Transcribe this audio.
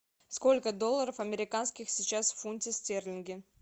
сколько долларов американских сейчас в фунте стерлинге